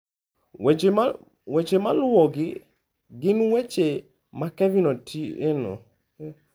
Weche maluwogi gin weche ma Kevin Otieno .